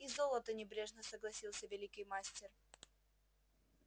и золото небрежно согласился великий мастер